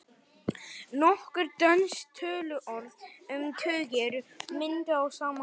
Nokkur dönsk töluorð um tugi eru mynduð á sama hátt.